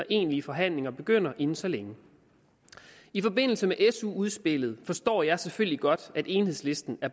egentlige forhandlinger begynder inden så længe i forbindelse med su udspillet forstår jeg selvfølgelig godt at enhedslisten